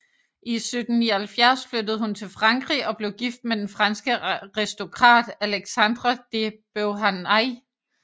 I 1779 flyttede hun til Frankrig og blev gift med den franske aristokrat Alexandre de Beauharnais